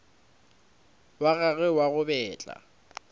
wa gagwe wa go betla